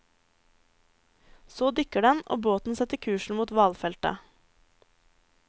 Så dykker den, og båten setter kursen mot hvalfeltet.